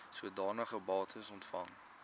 sodanige bates ontvang